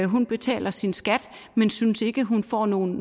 hun betaler sin skat men synes ikke hun får nogen